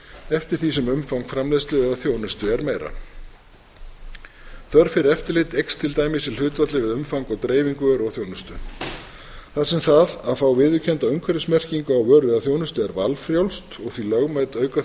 eftir því sem umfang framleiðslu eða þjónustu er meira þörf fyrir eftirlit eykst til dæmis í hlutfalli við umfang og dreifingu vöru og þjónustu þar sem það að fá viðurkennda umhverfismerkingu á vöru eða þjónustu er valfrjálst og því lögmæt aukaþjónusta